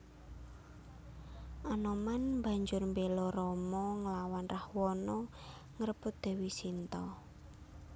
Anoman banjur mbéla Rama nglawan Rahwana ngrebut Dèwi Sinta